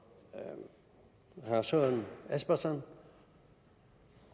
herre søren espersen